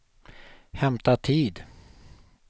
hämta tid